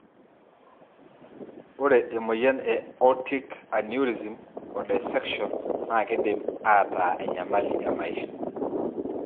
Ore emoyian e Aortic aneurysm o dissection na kindim ata enyamali emaisha.